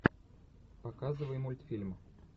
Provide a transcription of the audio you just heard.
показывай мультфильм